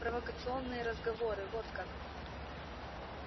провокационные разговоры вот как